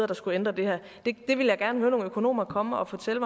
der skulle ændre det her vil jeg gerne høre nogle økonomer komme og fortælle